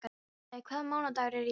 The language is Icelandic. Finnlaug, hvaða mánaðardagur er í dag?